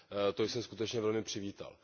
To jsem skutečně velmi přivítal.